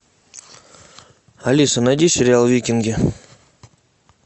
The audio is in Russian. алиса найди сериал викинги